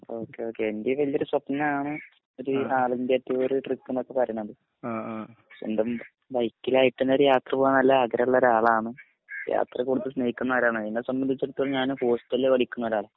okay ഒക്കെ ഇന്റീമ് വലിയൊരു സ്വപ്നാണ് ഒരു ഓൾ ഇന്ത്യ ടൂർ ട്രിപ്പ് നോക്കെ പറീണത് സ്വന്തം ബൈക് ലായിട്ടനെ ഒരു യാത്രപോവാൻ നല്ല ആഗ്രഹള്ളൊരാളാണ് യാത്രകൂടതൽസ്‌നേഹിക്കണോരാണ് എന്നെ സംബന്ധിച്ചിടത്തോളം ഞാൻ ഹോസ്റ്റൽപടിക്കണോരാള